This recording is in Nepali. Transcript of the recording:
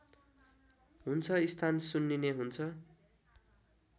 हुन्छ स्थान सुन्निने हुन्छ